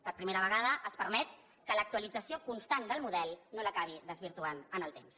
per primera vegada es permet que l’actualització constant del model no l’acabi desvirtuant en el temps